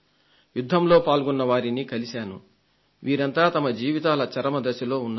యుద్ధంలో పాల్గొన్న వారిని కలిశాను వీరంతా వారి జీవితాల చరమ దశలో ఉన్నారు